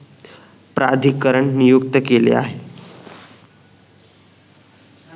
प्राधिकरण नियुक्त केले आहे